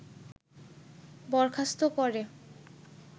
বরখাস্ত করে